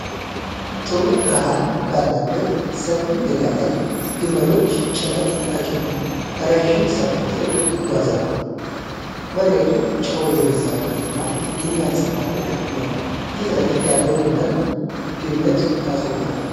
ጥሩ ብርሃን ባለበት ሰፊ ሜዳ ላይ፣ ግመሎች ጭነት ተጭነው ረዥም ሰልፍ ይዘው ይጓዛሉ። መሬቱ ጨው የበዛበት እና የሚያንፀባርቅ ነው። ፊት ለፊት ያለው ግመል ገመድ ታስሮበታል።